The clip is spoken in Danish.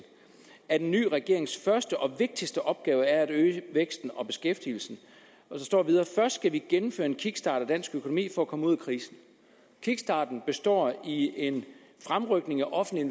at en ny regerings første og vigtigste opgave er at øge væksten og beskæftigelsen der står videre først skal gennemføre en kickstart af dansk økonomi for at komme ud af krisen kickstarten består en fremrykning af offentlige